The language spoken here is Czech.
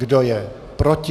Kdo je proti?